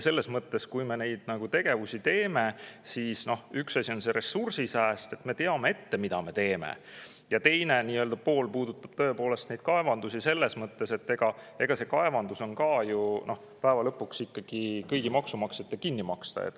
Selles mõttes, et kui me neid tegevusi teeme, siis üks asi on see ressursisääst, et me teame ette, mida me teeme, aga teine pool puudutab tõepoolest neid kaevandusi selles mõttes, et kaevandus tuleb ju ka lõpuks ikkagi kõigil maksumaksjatel kinni maksta.